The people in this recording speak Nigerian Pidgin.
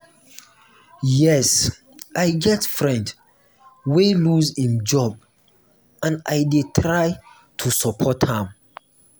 yes i get friend wey lose im job and i dey try to support am.